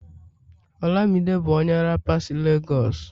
olamide bu onye rapa si Lagos